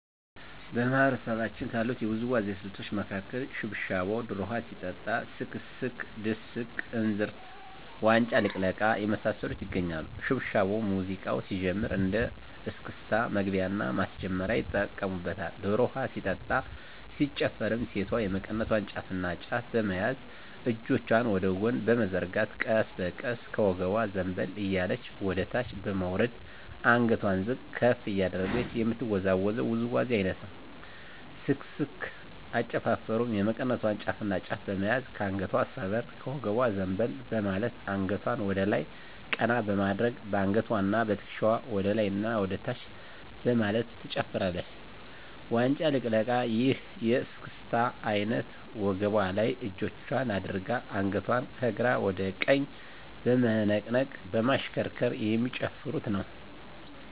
በማህበረሰባችን ካሉት የውዝዋዜ ስልቶች መካከል ሽብሻቦ ዶሮ ውሀ ሲጠጣ ስክስክ ድስቅ እንዝርት ዋንጫ ልቅለቃ የመሳሰሉት ይገኛሉ። ሽብሻቦ ሙዚቃው ሲጀምር እንደ እስክስታ መግቢያና ማስጀመሪያ ይጠቀሙበታል። ዶሮ ውሀ ሲጠጣ ሲጨፈርም ሴቷ የመቀነቷን ጫፍና ጫፍ በመያዝ እጆቿን ወደ ጎን በመዘርጋት ቀስ በቀስ ከወገቧ ዘንበል እያለች ወደታች በመውረድ አንገቷን ዝቅ ከፍ እያደረገች የምትወዛወዘው ውዝዋዜ አይነት ነው። ስክስክ አጨፋፈሩም የመቀነቷን ጫፍና ጫፍ በመያዝ ከአንገቷ ሰበር ከወገቧ ዘንበል በማለት አንገቷን ወደላይ ቀና በማድረግ በአንገትዋና በትክሻዋ ወደላይና ወደታች በማለት ትጨፍራለች። ዋንጫ ልቅለቃ ይህ የእስክስታ አይነት ወገቧ ላይ እጆቿን አድርጋ አንገቷን ከግራ ወደ ቀኝ በመነቅነቅ በማሽከርከር የሚጨፍሩት ነው።